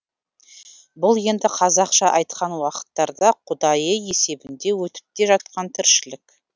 бұл енді қазақша айтқан уақыттарда құдайы есебінде өтіп те жатқан тіршілік